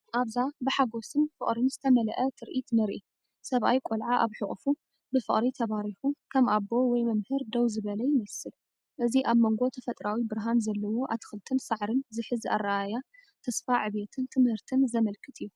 ኣብዛ ብሓጎስን ፍቕርን ዝተመልአ ትርኢት ንርኢ። ሰብኣይ ቆልዓ ኣብ ሕቑፉ፡፡ ብፍቕሪ ተባሪኹ፡ ከም ኣቦ ወይ መምህር ደው ዝበለ ይመስል። እዚ ኣብ መንጎ ተፈጥሮኣዊ ብርሃን ዘለዎ ኣትክልትን ሳዕርን ዝሕዝ ኣረኣእያ፡ ንተስፋ ዕብየትን ትምህርትን ዘመልክት እዩ።